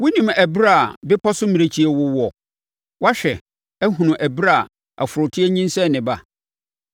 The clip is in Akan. “Wonim ɛberɛ a bepɔ so mmirekyie wowoɔ? Woahwɛ, ahunu ɛberɛ a ɔforoteɛ nyinsɛn ne ba?